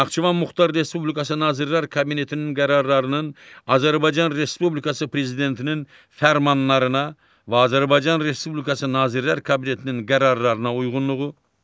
Naxçıvan Muxtar Respublikası Nazirlər Kabinetinin qərarlarının Azərbaycan Respublikası Prezidentinin fərmanlarına və Azərbaycan Respublikası Nazirlər Kabinetinin qərarlarına uyğunluğu;